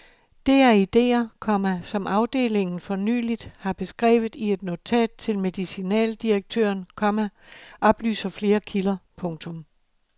Det er idéer, komma som afdelingen for nyligt har beskrevet i et notat til medicinaldirektøren, komma oplyser flere kilder. punktum